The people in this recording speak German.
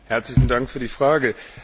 Herzlichen Dank für die Frage.